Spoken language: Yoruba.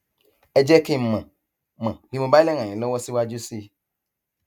ẹ jẹ kí n mọ mọ bí mo bá lè ràn yín lọwọ síwájú sí i